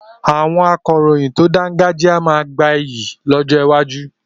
Àwọn akọ̀ròyìn tó dáńgájíá máa gba iyì lọ́jọ́ iwájú.